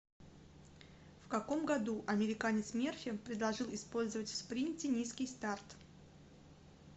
в каком году американец мерфи предложил использовать в спринте низкий старт